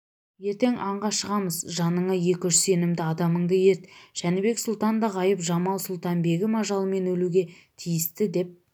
ертең аңға шығамыз жаныңа екі-үш сенімді адамыңды ерт жәнібек сұлтан да ғайып-жамал-сұлтан-бегім ажалымен өлуге тиісті деп